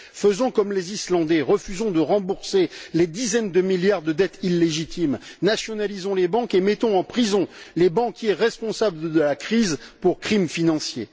Faisons comme les Islandais refusons de rembourser les dizaines de milliards de dettes illégitimes, nationalisons les banques et mettons en prison les banquiers responsables de la crise pour crime financier.